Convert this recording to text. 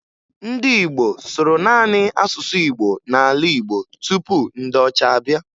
Ndị Igbo sụrụ naanị asụsụ Igbo n'ala Igbo tupu ndị ọcha abịa